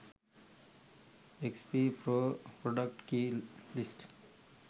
xp pro product key list